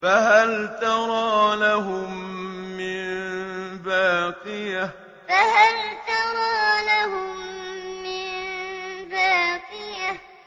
فَهَلْ تَرَىٰ لَهُم مِّن بَاقِيَةٍ فَهَلْ تَرَىٰ لَهُم مِّن بَاقِيَةٍ